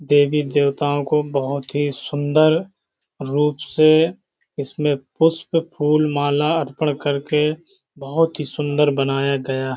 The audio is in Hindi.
देवी देवताओं को बहुत ही सुन्दर रूप से इसमें पुष्प फूल माला अर्पण करके बहुत ही सुन्दर बनाया गया --